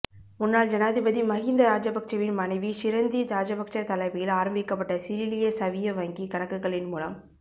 முன்னாள் ஜனாதிபதி மகிந்த ராஜபக்சவின் மனைவி ஷிரந்தி ராஜபக்ச தலைமையில் ஆரம்பிக்கப்பட்ட சிரிலிய சவிய வங்கி கணக்குகளின் மூலம்